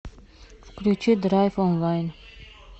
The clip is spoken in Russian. включи драйв онлайн